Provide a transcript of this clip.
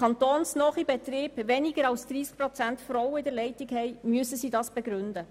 Kantonsnahe Betriebe mit einem Frauenanteil unter 30 Prozent in ihrer Leitung, müssen dies begründen.